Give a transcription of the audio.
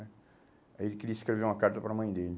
né aí ele queria escrever uma carta para a mãe dele.